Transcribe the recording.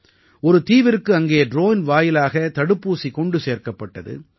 ஒரு தீவிற்கு அங்கே ட்ரோன் வாயிலாக தடுப்பூசி கொண்டு சேர்க்கப்பட்டது